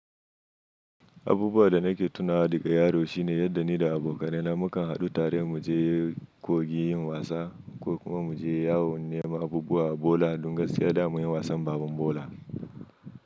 Abubuwan da nake tunawa da ga yaro shine yadda ni da abokanai na mu kan haɗu tare mu je kogi yin wasa ko kuma mu je yawon neman abubuwa a bola don gaskiya da mun yi wasan baban bola.